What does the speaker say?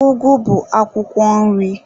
Ụgụ bụ akwụkwọ nri.